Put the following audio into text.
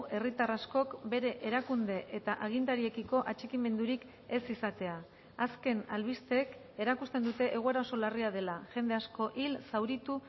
herritar askok bere erakunde eta agintariekiko atxikimendurik ez izatea azken albisteek erakusten dute egoera oso larria dela jende asko hil zauritu